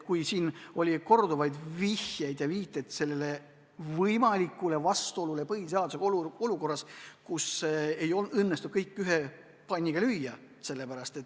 Siin on korduvalt viidatud võimalikule vastuolule põhiseadusega olukorras, kus ei õnnestu kõike ühe panniga lüüa.